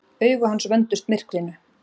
Augu hans vöndust myrkrinu.